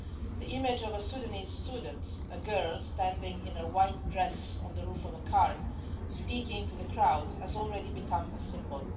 The image of a Sudanese student a girl standing in a white dress on the roof of a car, speaking to the crowd has already become a symbol.